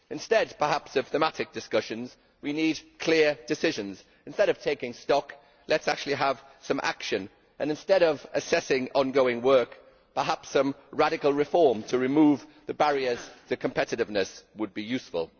Perhaps, instead of thematic discussions, we need clear decisions. Instead of taking stock, let us actually have some action, and instead of assessing ongoing work, perhaps some radical reform to remove the barriers to competitiveness would be useful.